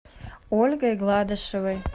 ольгой гладышевой